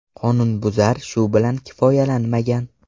Qonunbuzar shu bilan kifoyalanmagan.